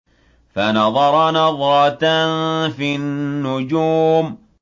فَنَظَرَ نَظْرَةً فِي النُّجُومِ